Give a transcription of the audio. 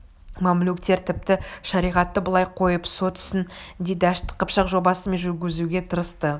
мамлюктер тіпті шариғатты былай қойып сот ісін де дәшті қыпшақ жобасымен жүргізуге тырысты